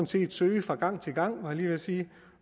set søge fra gang til gang var jeg lige ved at sige